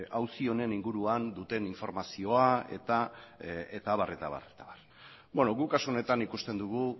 auzi honen inguruan duten informazioa eta abar guk kasu honetan ikusten dugu